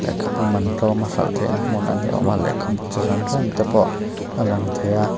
lehkhabu man tlawma hralh theihna hmun a ni âwm a lehkhabu chi hran hran te pawh a lang thei a.